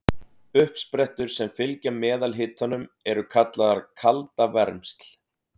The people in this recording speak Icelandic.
Uppsprettur sem fylgja meðalhitanum eru kallaðar kaldavermsl.